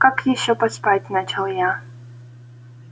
как ещё поспать начал я